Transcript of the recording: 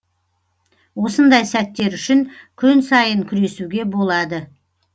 осындай сәттер үшін күн сайын күресуге болады